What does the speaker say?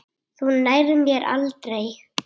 Þú nærð mér aldrei!